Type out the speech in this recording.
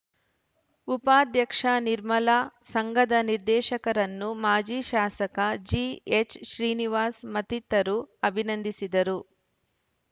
ಉಪಾಧ್ಯಕ್ಷ ನಿರ್ಮಲಾ ಸಂಘದ ನಿರ್ದೇಶಕರನ್ನು ಮಾಜಿ ಶಾಸಕ ಜಿಎಚ್‌ ಶ್ರೀನಿವಾಸ್‌ ಮತ್ತಿತರರು ಅಭಿನಂದಿಸಿದರು